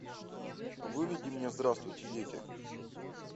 выведи мне здравствуйте дети